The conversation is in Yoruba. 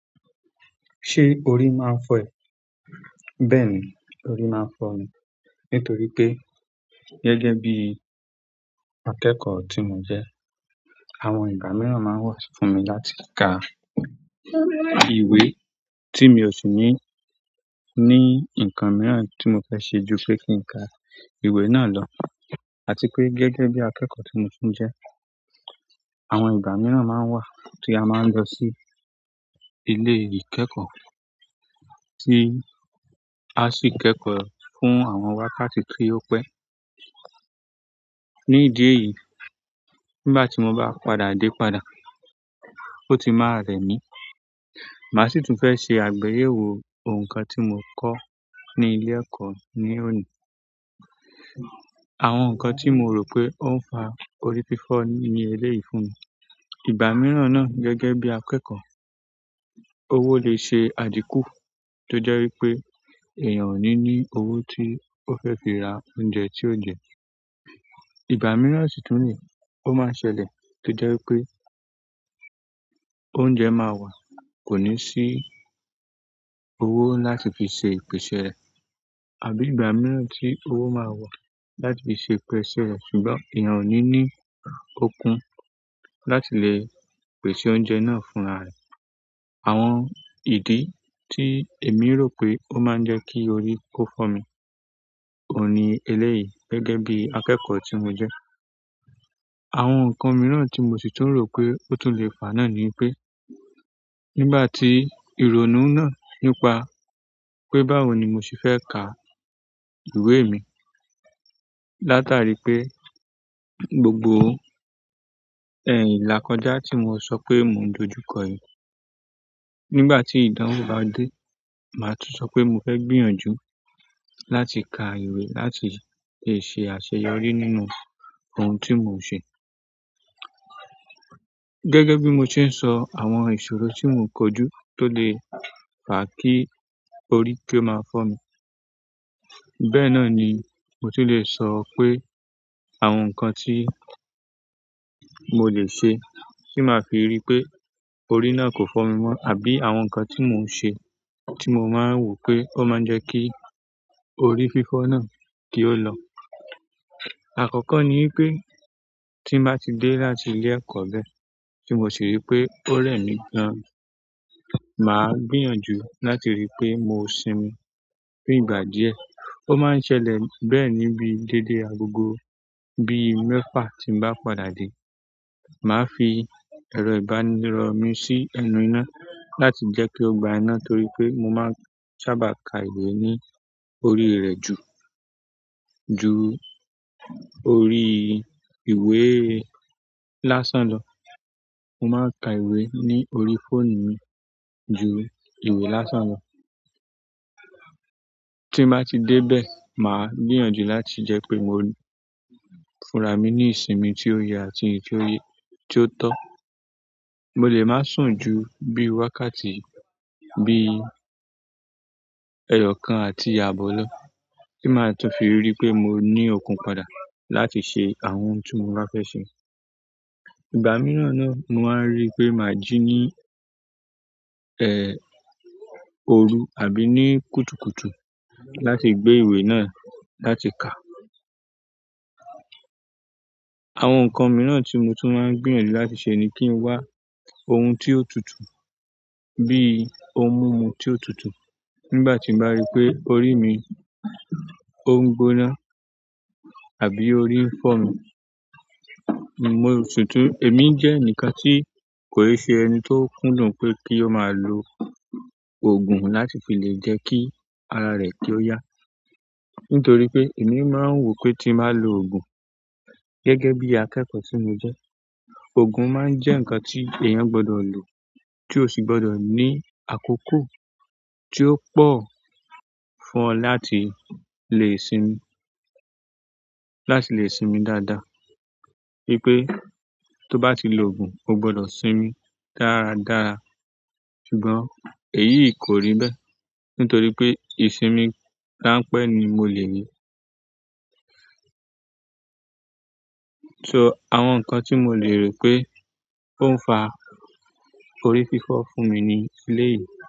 Ṣé orí máa ń fọ́ ẹ? Bẹ́ẹ̀ni, orí máa ń fọ́ mi. Nítorí pé gẹ́gẹ́ bí akẹ́kọ̀ọ́ tí mo jẹ́, àwọn ìgbà mìíràn máa n wà fún mi láti ka ìwé tí mi ò sì ní, ní nǹkan mìíràn tí mo fẹ́ ṣe ju pé kí n ka ìwé náà lọ. Àti pé gẹ́gẹ́ bí akẹ́kọ̀ọ́ tí mo tún jẹ́, àwọn ìgbà mìíràn máa ń wà tí a máa ń lọ sí ilé ìkẹ́kọ̀ọ́ tí aa sì kẹ́kọ̀ọ́ fún àwọn wákàtí tí ó pẹ́. Ni idi èyí, nígbà ti mo ba padà de padà, o ti maa re mi màá sì tún fẹ́ ṣe àgbèyèwo ǹkan tí mo kọ́ ní ilé ẹ̀kọ́ ní òní. Àwọn nkan ti mo ro pe o n fa orí fifo ni eleyii fún mi ìgbà mìíràn náà gẹ́gẹ́ bí akẹ́kọ̀ọ́, owó lè ṣe àdínkù tó jẹ́ wípé èèyàn ò ní ní owó tí ó fẹ́ fi ra oúnjẹ tí ó jẹ. Ìgbà mìíràn sì tún nii, ó máa ń ṣẹlẹ̀ tó jẹ́ wípé oúnjẹ máa wà kò ní sí owó láti fi ṣe ìpèsè rẹ̀. Àbí ìgbà mìíràn tí owó máa wà láti fi ṣe ìpèsè rẹ̀ ṣùgbọ́n èèyàn ò ní ní okun láti lè pèsè oúnjẹ náà fúnra rẹ̀. Àwọn ìdí tí èmi rò pé ó máa ń jẹ́ kí orí kó fọ́ mi òun ní eléyìí gẹ́gẹ́ bí akẹ́kọ̀ọ́ tí mo jẹ́. Àwọn nǹkan mìíràn tí mo sì tún rò pé ó tún lè faa náà ni wipé, nígbà tí ìrònú náà nípa pé báwo ni mo ṣe fẹ́ kà ìwé mi, látàrí pé gbogbo ilákọjá tí mo sọ pé mo ń dojú kọ yí. Nígbà tí ìdánwò bá dé, màá tún sọ pé mo fẹ́ gbìyànjú láti ka ìwé láti lè ṣe àṣeyọrí nínú ohun tí mo ń ṣe. Gẹ́gẹ́ bí mo se ń sọ àwọn ìṣòro tí mò ń kojú tó lè faa kí orí kí ó máa fọ́ mi. Bẹ́ẹ̀ náà ni mo ti lè sọ pé àwọn nǹkan tí mo lè ṣe tí màá fi rií pé orí náà kò fọ́ mi mọ́ àbí àwọn nǹkan tí mò ń ṣe tí mo máa ń wò pé ó máa ń jẹ́ kí orí fífọ́ náà kí ó lọ. Àkọ́kọ́ ní wipé tí n bá ti dé láti ilé ẹ̀kọ́ bẹ́ẹ̀, tí mo sì rí pé ó rẹ̀ mí gan, màá gbìyànjú láti rí pé mo sinmi. Fún ìgbà díẹ̀, ó máa ń ṣẹlẹ̀ bẹ́ẹ̀ ní bíi déédéé agogo bií mẹ́fà tí n bá padà dé. Màá fi ẹ̀rọ ìbánirọ̀ mi sí ẹnu iná láti jẹ́ kí ó gba iná torí pé mo máa ń sábà ka ìwé ní orí rẹ̀ ju, ju orí ìwé lásán lọ. Mo máa ń ka ìwé ní orí fóònù mi ju ìwé lásán lọ. Tí n bá ti dé bẹ́ẹ̀, màá gbìyànjú láti jẹ́ pé mo fúnra mi ní ìsinmi tí ó yẹ àti èyí ti o ye tí ó tó. Mo lè má sùn ju bíi wákàtí bíi ẹyọ kan àti aàbọ̀ lọ. Tí màá tún fi ríi pé mo ní okun padà láti ṣe àwọn ohun tí mo bá fẹ́ ṣe. Ìgbà mìíràn náà mo máa ń rí pé máa jí ní, oru àbí ní kùtùkùtù láti gbé ìwé náà láti kà. Àwọn nǹkan mìíràn tí mo tún máa ń gbìyànjú láti ṣe ni kí n wá ohun tí ó tutù bíi ohun mumu tí ó tutù. Nígbà tí n bá rí pé orí mi, ó ń gbóná àbí orí ń fọ́ mi, mo sì tún, èmi jẹ́ ẹnìkan tí kò i ṣe ẹni tó kúndùn pé kí ó máa lo òògùn láti fi lè jẹ́ kí ara rẹ̀ kí ó yá. Nítorí pé èmi máa ń wò pé tí n bá lo òògùn gẹ́gẹ́ bí akẹ́kọ̀ọ́ tí mo jẹ́, òògùn máa ń jẹ́ nǹkan tí èèyàn gbọ́dọ̀ lò tí ò sì gbọ́dọ̀ ní àkókò tí ó pọ̀ fún ọ láti lè sinmi, láti lè sinmi dáadáa. Wípé tó bá ti lo òògùn, o gbọ́dọ̀ sinmi dáradára. Ṣùgbọ́n èyí kò rí bẹ́ẹ̀. Nítorí pé ìsinmi ranpẹ́ ni mo lè ni. So àwọn nǹkan tí mo lè rò pé ó ń fa orí fífọ́ fún mi ni eleyìí.